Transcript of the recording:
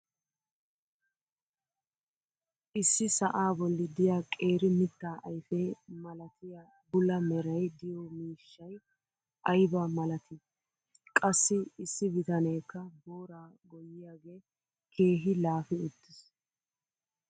Issi sa"aa bolli diya qeeri mitaa ayfe malatiya bula meray diyo miishshay ayba malatii! Qassi issi bitaneekka booraa goyyiyaagee keehi laafi uttiis.